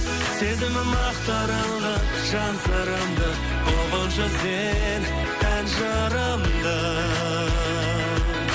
сезімім ақтарылды жан сырымды ұғыншы сен ән жырымды